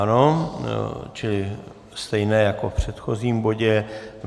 Ano, čili stejně jako v předchozím bodě.